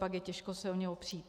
Pak je těžko se o ně opřít.